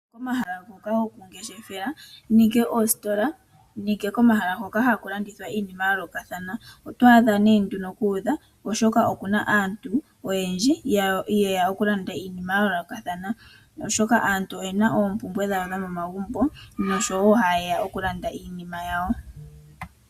Pomahala ngoka gokungeshefela, ongele okoositola nenge komahala hoka haku landithwa iinima ya yoolokathana, oto adha nduno ku udha, oshoka oku na aantu oyendji ye ya okulanda iinima ya yoolokathana, oshoka aantu oye na oompumbwe dhawo dhomomagumbo noshowo haye ya okulanda iinima yawo.